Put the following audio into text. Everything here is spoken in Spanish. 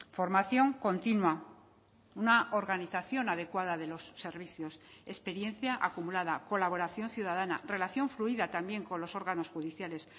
formación continua una organización adecuada de los servicios experiencia acumulada colaboración ciudadana relación fluida también con los órganos judiciales